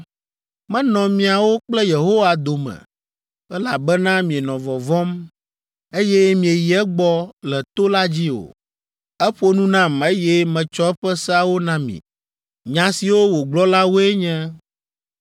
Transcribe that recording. Menɔ miawo kple Yehowa dome, elabena mienɔ vɔvɔ̃m, eye mieyi egbɔ le to la dzi o. Eƒo nu nam, eye metsɔ eƒe seawo na mi. Nya siwo wògblɔ la woe nye: